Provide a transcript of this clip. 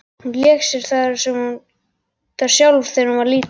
Hún lék sér þar sjálf þegar hún var lítil.